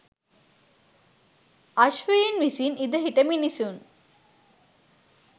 අශ්වයින් විසින් ඉඳ හිට මිනිසුන්